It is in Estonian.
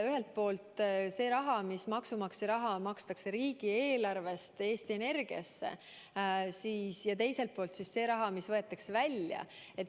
Ühelt poolt see raha, maksumaksja raha, mis makstakse riigieelarvest Eesti Energiasse, ja teiselt poolt see raha, mis võetakse välja.